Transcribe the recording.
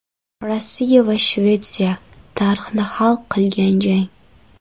Rossiya va Shvetsiya tarixini hal qilgan jang.